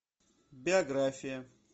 биография